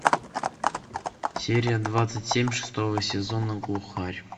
серия двадцать семь шестого сезона глухарь